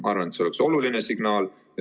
Ma arvan, et see oleks oluline signaal.